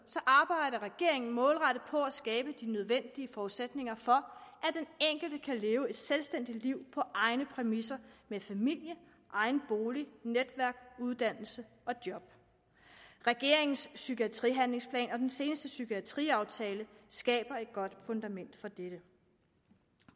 arbejder regeringen målrettet på at skabe de nødvendige forudsætninger for at den enkelte kan leve et selvstændigt liv på egne præmisser med familie egen bolig netværk uddannelse og job regeringens psykiatrihandlingsplan og den seneste psykiatriaftale skaber et godt fundament for det